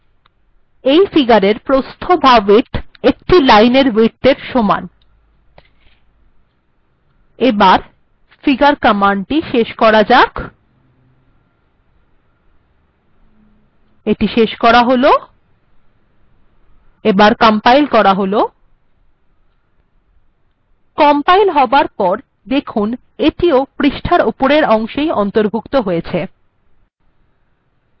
এই ফিগার্এর width বা প্রস্থ একটি লাইনএর width এর সমান ফিগার্ কমান্ডটি শেষ করা যাক কম্পাইল্ করা যাক দেখুন কম্পাইল্ হবার পর এটি পৃষ্ঠার উপরের অংশে অন্তর্ভুক্ত হয়েছে